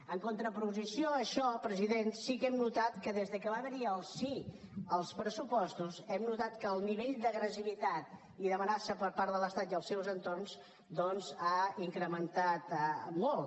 en contraposició a això president sí que hem notat que des que va haver hi el sí als pressupostos hem notat que el nivell d’agressivitat i d’amenaça per part de l’estat i els seus entorns doncs ha incrementat molt